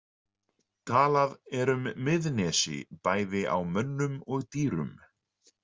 Talað er um miðsnesi bæði á mönnum og dýrum.